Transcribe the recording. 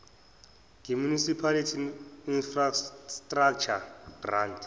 ngemunicipal infrastructure grant